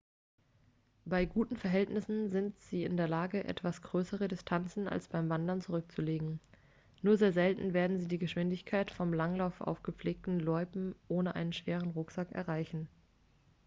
bei guten verhältnissen sind sie in der lage etwas größere distanzen als beim wandern zurückzulegen nur sehr selten werden sie die geschwindigkeit vom langlauf auf gepflegten loipen ohne einen schweren rucksack erreichen